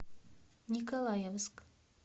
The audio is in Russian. николаевск